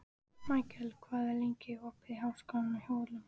Mikkel, hvað er lengi opið í Háskólanum á Hólum?